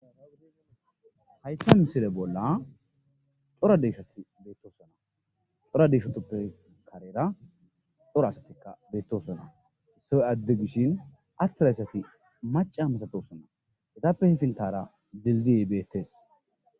hayssa misire bolla xora deshati beettosona xora deshotoppe karera xora asatikka beettosona issy adde gishin attirayssati maca misatossona hetappe hifintara lilgiebeettees